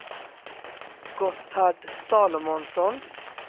Gotthard Salomonsson